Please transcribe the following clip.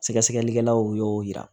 Sɛgɛsɛgɛlikɛlaw y'o yira